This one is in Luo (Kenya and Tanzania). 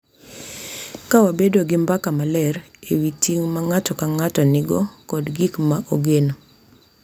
Ka wabedo gi mbaka maler e wi ting’ ma ng’ato ka ng’ato nigo kod gik ma ogeno.